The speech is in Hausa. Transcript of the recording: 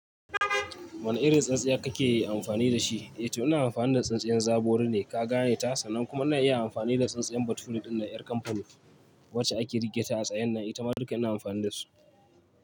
Wane irin tsintsiya kake amfani da shi? Eh to ina amfani da tsintsiyar zabori ne ka gane ta sannan kuma ina iya amfani da tsintsiyar bature ɗin ƴar kamfanin wacce ake riƙeta a tsayen nan. Ita ma duka ina amfani da su.